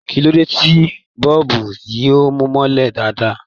Kí ló dé tí bọ́ọ̀bù yìí ò mọ́lẹ̀ dáadáa?